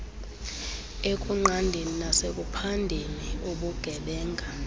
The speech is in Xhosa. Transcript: ekunqandeni nasekuphandeni ubugebenga